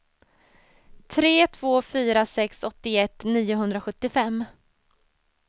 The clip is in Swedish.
tre två fyra sex åttioett niohundrasjuttiofem